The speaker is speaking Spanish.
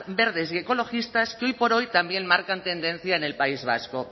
verdes y ecologistas que hoy por hoy también marcan tendencia en el país vasco